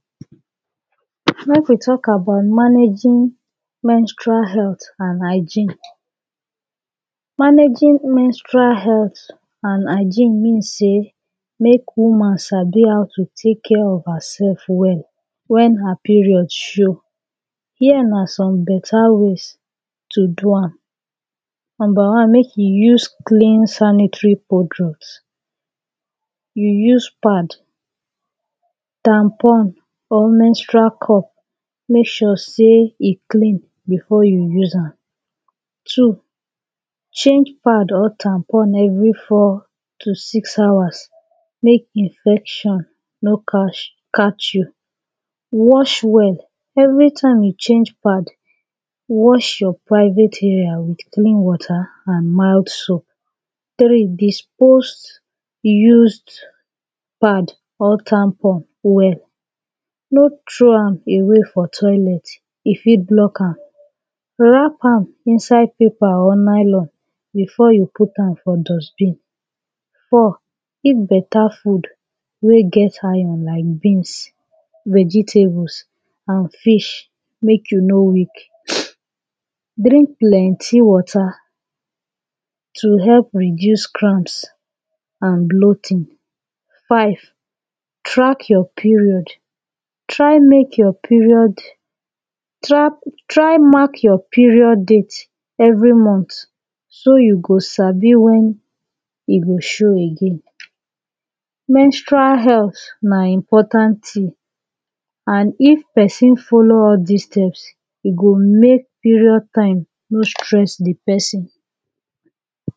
Mek we talk about managing menstrual healt an hygiene. Managing menstrual healt an hygiene mean say mek woman sabi how to take care of hersef well wen her period show hia na some beta ways to do am Number one mek you use clean sanitary products you use pad tampon or menstrual cup make sure say e clean before you use am Two change pad or tampon every four to six hours make infection no catch you Wash well anytime you change pad wash your private area with clean water and mild soap Three dispose used pad or tampon well no trow am away for toilet e fit block am wrap am inside paper or nylon before you put am for dustbin Four eat beta food wey get iron like beans vegetables an fish make you no weak drink plenty water to help reduce cramps and bloating Five track your period try make your period try try mark your period date every Mont so you go Sabi when e go show again. Menstrual healt na important tin an if person follow all dis tips e go mek period time no stress the person